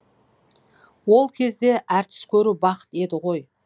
ол кезде әртіс көру бақыт еді ғой